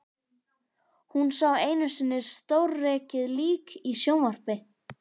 Hún sá einu sinni sjórekið lík í sjónvarpi.